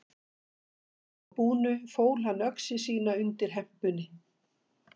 Að svo búnu fól hann öxi sína undir hempunni.